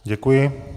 Děkuji.